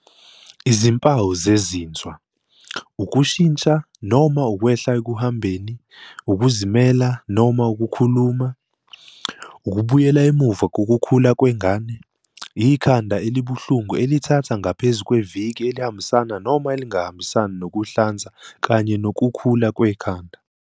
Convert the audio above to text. Izimpawu zezinzwa- Ukushintsha noma ukwehla ekuhambeni, ukuzimela noma ukukhuluma, ukubuyela emuva kokukhula kwengane, ikhanda elibuhlungu elithatha ngaphezu kweviki elihambisana noma elingahambisani nokuhlanza kanye nokukhula kwekhanda.